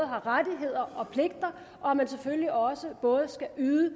har rettigheder og pligter og at man selvfølgelig også både skal yde